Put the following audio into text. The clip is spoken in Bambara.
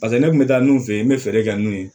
Paseke ne kun bɛ taa nun fɛ yen n bɛ feere kɛ n'u ye